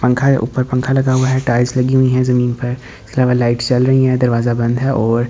पंखा ऊपर पंखा लगा हुआ है टाइल्स लगी हुई हैं जमीन पर इसके अलावा लाइट जल रही है दरवाजा बंद है और--